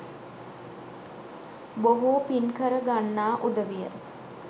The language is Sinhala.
බොහෝ පින්කර ගන්නා උදවිය